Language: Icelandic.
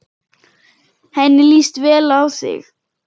Henni líst vel á þig.